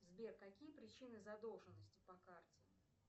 сбер какие причины задолженности по карте